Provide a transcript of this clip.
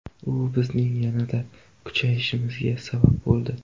U bizning yanada kuchayishimizga sabab bo‘ldi.